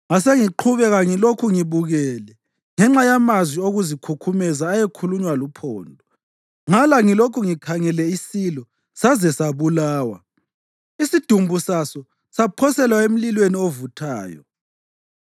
Ngasengiqhubeka ngilokhu ngibukele ngenxa yamazwi okuzikhukhumeza ayekhulunywa luphondo. Ngala ngilokhu ngikhangele isilo saze sabulawa, isidumbu saso saphoselwa emlilweni ovuthayo.